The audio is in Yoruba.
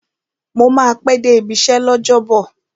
Mo máa pẹ́ dé ibi iṣẹ́ l'ọ́jọ́bọ̀